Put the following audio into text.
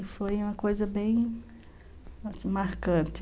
E foi uma coisa bem marcante.